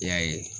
I y'a ye